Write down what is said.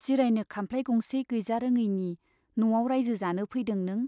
जिरायनो खामफ्लाइ गंसे गैजारोङैनि न'आव राइजो जानो फैदों नों ?